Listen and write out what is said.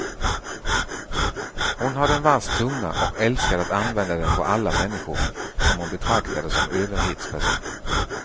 Hon hade en vass tunga och älskade att använda den på alla människor, som hon betraktade som överhetspersoner.